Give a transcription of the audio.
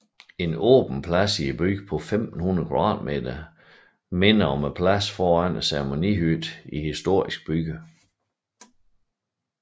En åben plads i byen på 1500 kvadratmeter minder om pladsen foran ceremonihytten i historiske byer